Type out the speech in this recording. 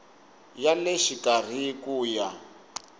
ya le xikarhi ku ya